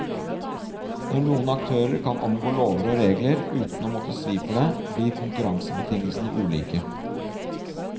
Når noen aktører kan omgå lover og regler uten å måtte svi for det, blir konkurransebetingelsene ulike.